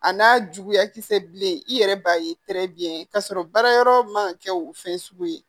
A n'a juguya kisɛ bilen i yɛrɛ b'a ye biɲɛ ye k'a sɔrɔ baara yɔrɔ man ka kɛ o fɛn sugu ye